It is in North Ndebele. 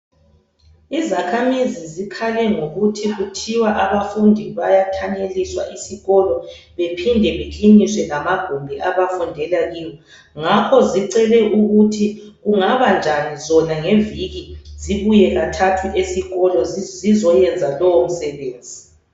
Izakhamizi zikhale ngokuthi kuthiwa abafundi bayathanyeliswa esikolo bephinde bekiliniswe lamagumbi abafundela kiwo ngakho zicele ukuthi kungaba njani zona ngeviki zibuye kathathu esikolo zizoyenza lowo msebenzi.